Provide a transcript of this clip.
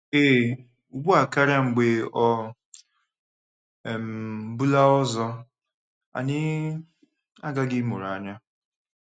Ee, ugbu a karịa mgbe ọ um bụla ọzọ, anyị aghaghị ịmụrụ anya!